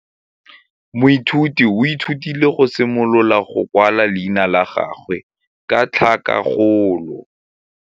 Moithuti o ithutile go simolola go kwala leina la gagwe ka tlhakakgolo.